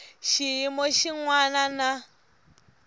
xiyimo xin wana na xin